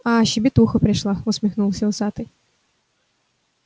а щебетуха пришла усмехнулся усатый